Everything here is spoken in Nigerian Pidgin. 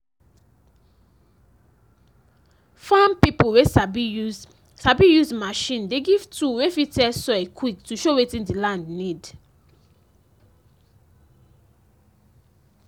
farm pipo wey sabi use sabi use machine dey give tool wey fit test soil quick to show wetin the land need